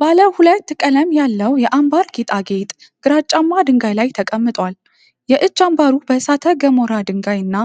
ባለ ሁለት ቀለም ያለው የአንባር ጌጣጌጥ ግራጫማ ድንጋይ ላይ ተቀምጧል። የእጅ አምባሩ በእሳተ ገሞራ ድንጋይ እና